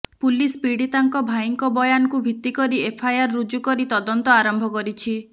police ପୀଡ଼ିତାଙ୍କ ଭାଇଙ୍କ ବୟାନଙ୍କୁ ଭିତ୍ତି କରି ଏଫ୍ଆଇଆର୍ ରୁଜୁ କରି ତଦନ୍ତ ଆରମ୍ଭ କରିଛି